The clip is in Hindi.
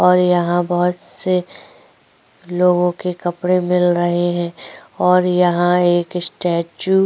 और यहाँ बोहोत से लोगों के कपड़े मिल रहे है और यहाँ एक स्टेच्यू --